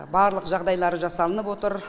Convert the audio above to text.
барлық жағдайлары жасалынып отыр